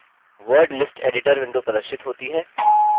word list editor window प्रदर्शित होती है